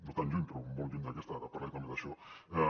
no tan lluny però molt lluny d’aquesta i ara parlaré també d’això